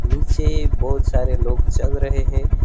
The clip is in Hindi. से बहुत सारे लोग चल रहे हैं।